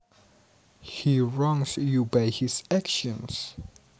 He wrongs you by his actions